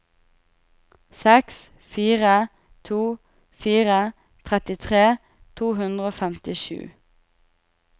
seks fire to fire trettitre to hundre og femtisju